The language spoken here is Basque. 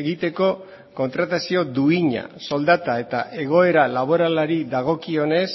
egiteko kontratazio duina soldata eta egoera laboralari dagokionez